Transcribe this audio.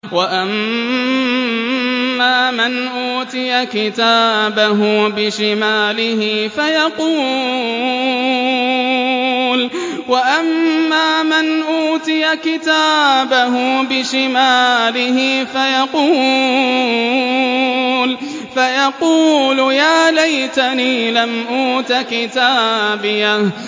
وَأَمَّا مَنْ أُوتِيَ كِتَابَهُ بِشِمَالِهِ فَيَقُولُ يَا لَيْتَنِي لَمْ أُوتَ كِتَابِيَهْ